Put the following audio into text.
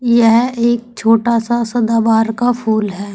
यह एक छोटा सा सदाबहार का फूल है।